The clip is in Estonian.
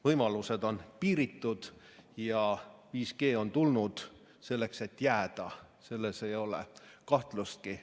Võimalused on piiritud ja 5G on tulnud selleks, et jääda, selles ei ole kahtlustki.